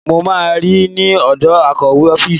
Mo máa rí ẹ ní ọ̀dọ̀ akọ̀wé ọ́fíìsì.